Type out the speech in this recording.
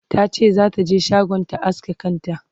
tace zata je shagon ta aske kanta